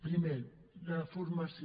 primer la formació